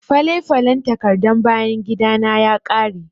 Fale-falen takardan bayan gidana ya ƙare.